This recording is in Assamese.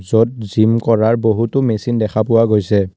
য'ত জিম কৰাৰ বহুতো মেচিন দেখা পোৱা গৈছে।